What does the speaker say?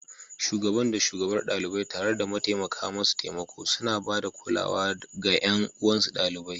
Shugaban da Shugabar ɗalibai, tare da mataimaka masu taimako, suna ba da kulawa da ga ƴan uwansu ɗalibai.